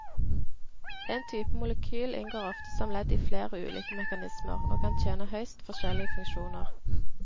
En type molekyl inngår ofte som ledd i flere ulike mekanismer, og kan tjene høyst forskjellige funksjoner.